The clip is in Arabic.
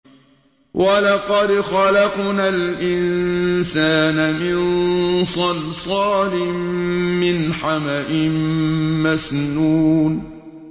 وَلَقَدْ خَلَقْنَا الْإِنسَانَ مِن صَلْصَالٍ مِّنْ حَمَإٍ مَّسْنُونٍ